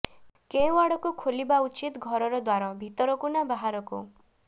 କେଉଁ ଆଡ଼କୁ ଖୋଲିବା ଉଚିତ ଘରର ଦ୍ୱାର ଭିତରକୁ ନା ବାହାରକୁ